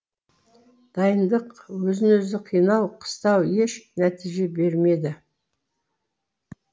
дайындық өзін өзі қинау қыстау еш нәтиже бермеді